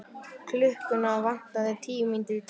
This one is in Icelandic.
Klukkuna vantaði tíu mínútur í tólf.